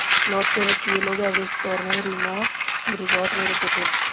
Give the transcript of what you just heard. लौटते वक्त ये लोग एवरेस्ट पैनोरमा रिजॉर्ट में रुके थे